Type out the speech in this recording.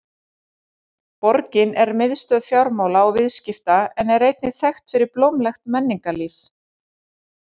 Borgin er miðstöð fjármála og viðskipta en er einnig þekkt fyrir blómlegt menningarlíf.